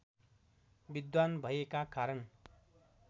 विद्वान् भएका कारण